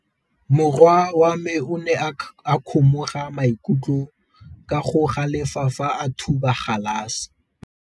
Morwa wa me o ne a kgomoga maikutlo ka go galefa fa a thuba galase.